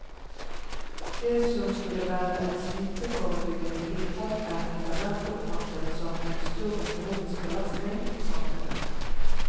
Det som skulle være et smitteforebyggende tiltak er etterhvert oppfattet som en stor økonomisk belastning for samfunnet.